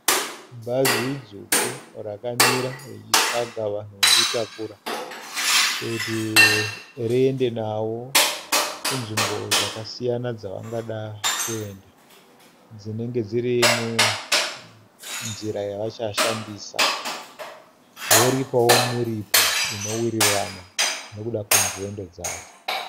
Bhazi dzvuku rakamira richitsvaga vanhu vokutakura kuti riende navo kunzvimbo dzakasiyana dzavangada kuenda dzinenge dziri munzira yavachashandisa, voripawo muripo inowirirana nekuda kwenzendo dzavo.